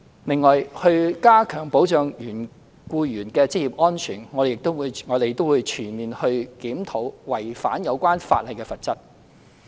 另外，為加強保障僱員的職業安全，我們將全面檢討違反有關法例的罰則。